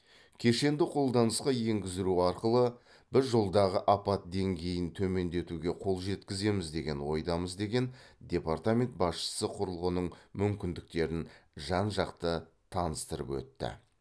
кешенді қолданысқа енгіздіру арқылы біз жолдағы апат деңгейін төмендетуге қол жеткіземіз деген ойдамыз деген департамент басшысы құрылғының мүмкіндіктерін жан жақты таныстырып өтті